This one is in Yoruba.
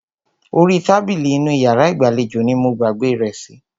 Orí tábìlì inú iyàrá ìgbàlejò ní mo gbàgbé rẹ̀ sí.